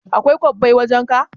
Akwai kwabbai wajan ka?